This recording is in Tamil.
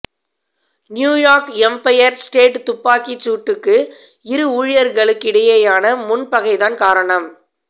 நியூயார்க் எம்பயர் ஸ்டேட் துப்பாக்கிச் சூட்டுக்கு இரு ஊழியர்களுக்கிடையேயான முன்பகைதான் காரணம்